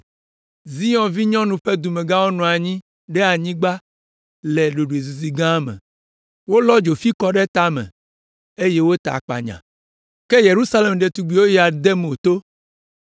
Zion vinyɔnu ƒe dumegãwo nɔ anyi ɖe anyigba le ɖoɖoezizi gã me. Wolɔ dzofi kɔ ɖe tame eye wota akpanya. Ke Yerusalem ɖetugbiwo ya de mo to.